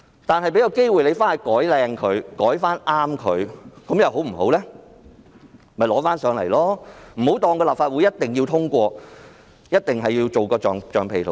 當局大可再提交新的建議，不要以為立法會一定要通過，一定要當它的橡皮圖章。